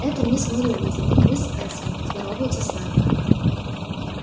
это мисс мерриуэзер и мисс элсинг здороваются с нами